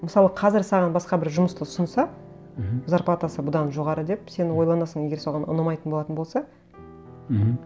мысалы қазір саған басқа бір жұмысты ұсынса мхм зарплатасы бұдан жоғары деп сен ойланасың егер саған ұнамайтын болатын болса мхм